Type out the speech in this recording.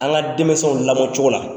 An ka denmisɛnw lamɔcogo la.